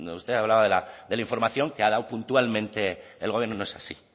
usted hablaba de la de la información que ha dado puntualmente el gobierno no es así